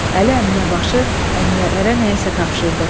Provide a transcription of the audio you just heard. Əli Əmniyyə başı əmniyyələrə nəyinsə tapşırdı.